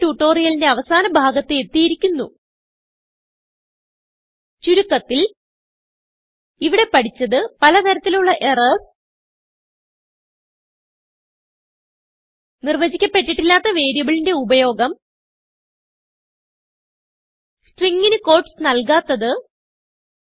ഇതോടെ ട്യൂട്ടോറിയലിന്റെ അവസാന ഭാഗത്ത് എത്തിയിരിക്കുന്നു ചുരുക്കത്തിൽ ഇവിടെ പഠിച്ചത് പലതരത്തിലുള്ള എറർസ് നിർവചിക്കപെട്ടിട്ടില്ലാത്ത വേരിയബിളിന്റെ ഉപയോഗം സ്ട്രിംഗ് ന് ക്യൂട്ടീസ് നൽകാത്തത്